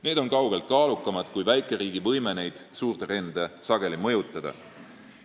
Need on sageli kaugelt kaalukamad kui väikeriigi võime selliseid suuri trende mõjutada.